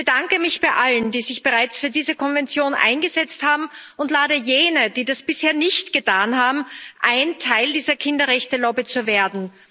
Ich bedanke mich bei allen, die sich bereits für diese Konvention eingesetzt haben, und lade jene, die das bisher nicht getan haben, ein, Teil dieser Kinderrechte Lobby zu werden.